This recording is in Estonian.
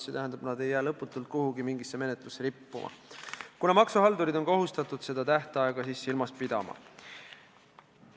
See tähendab, nad ei jää lõputult kuhugi menetlusse rippuma, kuna maksuhaldurid on kohustatud seda tähtaega silmas pidama.